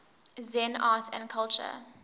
zen art and culture